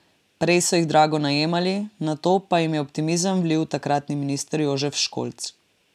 Prej so jih drago najemali, nato pa jim je optimizem vlil takratni minister Jožef Školč.